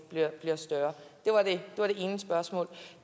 bliver større det var det ene spørgsmål